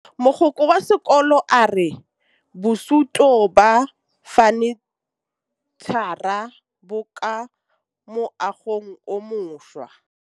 Mogokgo wa sekolo a re bosutô ba fanitšhara bo kwa moagong o mošwa.